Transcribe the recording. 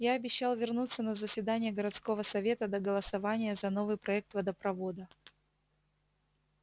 я обещал вернуться на заседание городского совета до голосования за новый проект водопровода